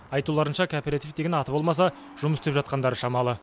айтуларынша кооператив деген аты болмаса жұмыс істеп жатқандары шамалы